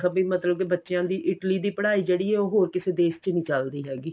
B ਮਤਲਬ ਬੱਚਿਆ ਦੀ Italy ਦੀ ਪੜਾਈ ਜਿਹੜੀ ਏ ਉਹ ਹੋਰ ਕਿਸੇ ਦੇਸ਼ ਚ ਨਹੀਂ ਚੱਲਦੀ ਹੈਗੀ